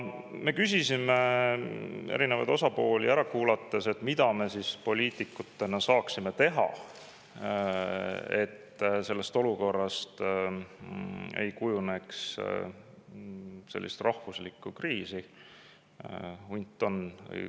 Me küsisime erinevaid osapooli ära kuulates, mida me poliitikutena saaksime teha, et sellest olukorrast ei kujuneks kriis.